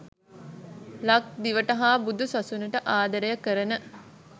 ලක්දිවට හා බුදුසසුනට ආදරය කරන